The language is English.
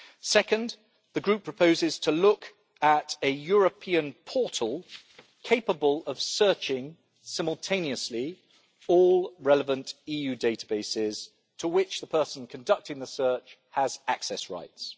Second, the Group proposes to look at a European portal capable of searching simultaneously all relevant EU databases to which the person conducting the search has access rights.